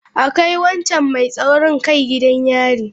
A kai wancan mai taurin kai gidan yari.